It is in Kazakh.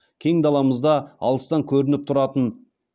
кең даламызда алыстан көрініп тұратын